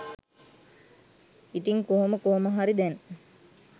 ඉතින් කොහොම කොහොමහරි දැන්